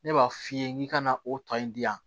Ne b'a f'i ye n k'i ka na o tɔ in di yan